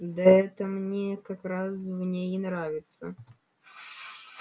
да это мне как раз в ней и нравится